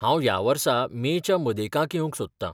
हांव ह्या वर्सा मे च्या मदेकाक येवंक सोदतां .